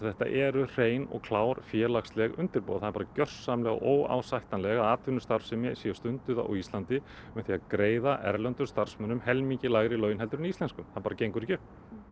þetta eru hrein og klár félagsleg undirboð það er bara gjörsamlega óásættanlegt að atvinnustarfsemi sé stunduð á Íslandi með því að greiða erlendum starfsmönnum helmingi lægri laun heldur en íslenskum það bara gengur ekki upp